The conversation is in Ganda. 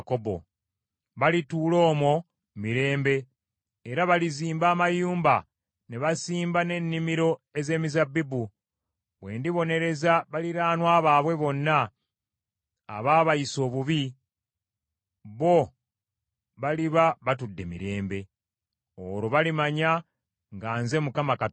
Balituula omwo mirembe, era balizimba amayumba ne basimba n’ennimiro ez’emizabbibu. Bwe ndibonereza baliraanwa baabwe bonna abaabayisa obubi, bo baliba batudde mirembe. Olwo balimanya nga nze Mukama Katonda waabwe.’ ”